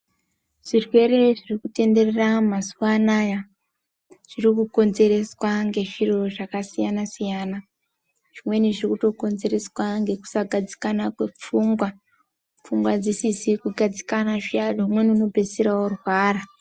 Zvirwere zviri kutenderera mazuwa anaya zviri kukonzereswa ngezviro zvakasiyana siyana. Zvimweni zviri kutokonzereswa ngekusagadzikana kwepfungwa, pfungwa dzisizi kugadzikana zviyani umweni unopedzisira orwara.